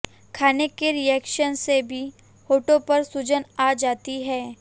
खाने के रिएक्शन से भी होठों पर सूजन आ जाती है